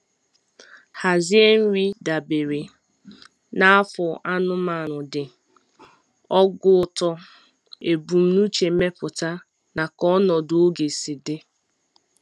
Hazie nri dabere na afọ anụmanụ dị, ogo uto, ebumnuche mmepụta, na ka ọnọdụ oge sị dị.